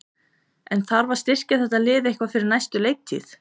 En þarf að styrkja þetta lið eitthvað fyrir næstu leiktíð?